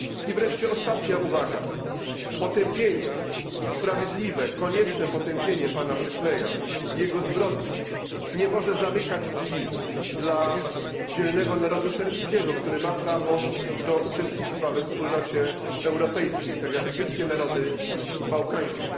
I wreszcie ostatnia uwaga potępienie sprawiedliwe, konieczne potępienie pana Szeszela i jego zbrodni nie może zamykać drzwi dla dzielnego narodu serbskiego, który ma prawo do uczestnictwa we Wspólnocie Europejskiej, tak jak wszystkie narody bałkańskie.